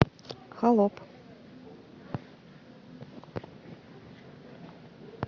холоп